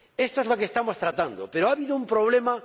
Esto es lo que estamos tratando, pero ha habido un problema.